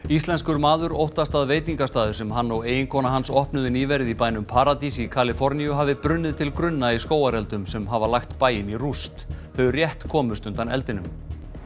íslenskur maður óttast að veitingastaður sem hann og eiginkona hans opnuðu nýverið í bænum paradís í Kaliforníu hafi brunnið til grunna í skógareldum sem hafa lagt bæinn í rúst þau rétt komust undan eldinum